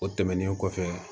O tɛmɛnen kɔfɛ